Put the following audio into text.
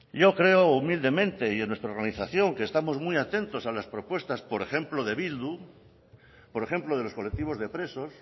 yo creo humildemente y en nuestra organización que estamos muy atentos a las propuestas por ejemplo de bildu por ejemplo de los colectivos de presos